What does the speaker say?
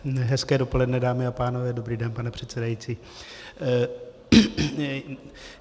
Hezké dopoledne, dámy a pánové, dobrý den, pane předsedající.